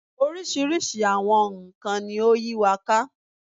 Oríṣiríṣi àwọn nkàn-an ni ó yí wa ká